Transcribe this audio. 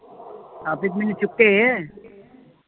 ਆਹ ਮੈਨੂੰ ਚੁੱਕੇ